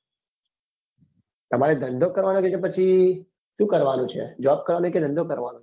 તમારે ધંધો કરવા નો કે પછી શું કરવા નું છે job કરવા ની કે ધંધો કરવા નો